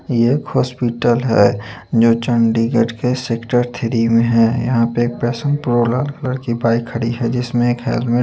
ये एक हॉस्पिटल है न्यूट्रॉ_डी करके सेक्टर थ्री में है यहाँ पे एक पैशन प्रो करके बाईक खड़ी है जिसमें एक हेलमेट --